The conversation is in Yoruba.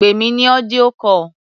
Pè mí ní audio call.